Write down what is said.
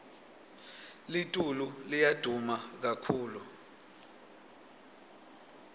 litulu liya duma kakhulu